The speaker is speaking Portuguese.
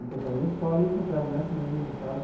Encontrava na escola e encontrava nas missas tal.